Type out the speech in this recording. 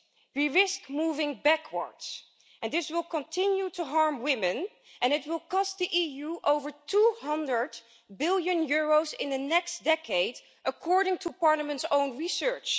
we risk moving backwards and this will continue to harm women and it will cost the EU over EUR 200 billion in the next decade according to Parliament's own research.